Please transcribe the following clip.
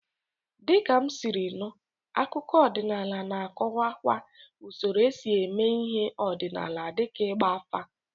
Dịka m siri nụ, akụkọ ọdịnala na-akọwakwa usoro esi eme ihe ọdịnala dịka ịgba afa.